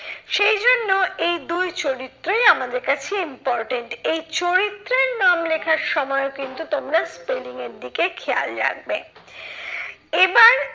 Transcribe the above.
সেইজন্য এই দুই চরিত্রই আমাদের কাছে important এই চরিত্রের নাম লেখার সময়ও কিন্তু তোমরা spelling এর দিকে খেয়াল রাখবে। এবার